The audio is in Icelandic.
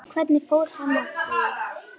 Hvernig fór hann að því?